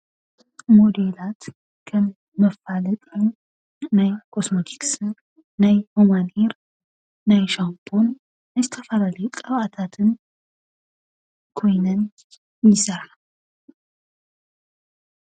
ሞዴላት ከም መፋለጢ ናይ ኮስሞቲክስን ናይ ሁማን ሄይርን ናይ ሻምፖን ናይ ዝተፈላለዩ ቅብኣታትን ኮይነን ይሰርሓ።